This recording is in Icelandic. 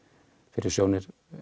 fyrir sjónir